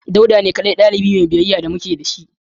Dauda ne kadai dalibi Mai biyayya da muke da shi